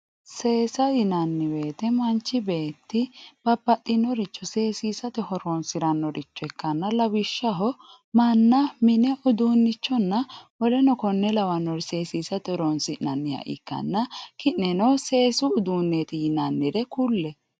Seesa yinani woyite manchi beeti babaxinoricho seesisate horonsiranoricho ikkana lawishshaho manna mine udunichonna w.k.l seesisate horonsinanha ikana ki`neno seesu uduuneti yinanire kulle.